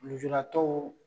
Lujuratɔw